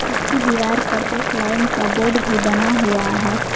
इसकी दीवार पर एक लाइन का बोर्ड भी बना हुआ है।